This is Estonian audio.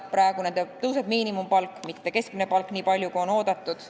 Praegu tõuseb nende miinimumpalk, mitte keskmine palk nii palju, kui on oodatud.